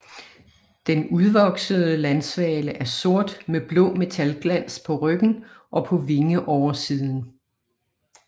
Den udvoksede landsvale er sort med blå metalglans på ryggen og på vingeoversiden